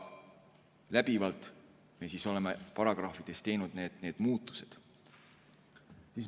Läbivalt me oleme paragrahvides teinud need muudatused.